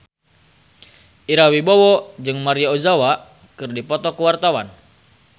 Ira Wibowo jeung Maria Ozawa keur dipoto ku wartawan